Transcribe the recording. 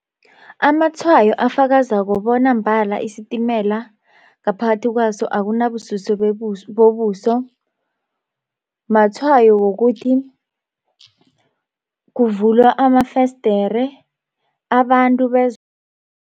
Amatshwayo afakazako bona mbala isitimela ngaphakathi kwaso akunabususo bobuso matshwayo wokuthi kuvulwa amafesdere abantu